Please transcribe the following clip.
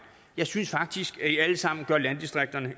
jeg synes faktisk at i alle sammen gør landdistrikterne